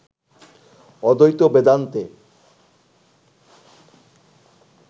অদ্বৈত বেদান্তে